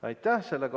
Aitäh!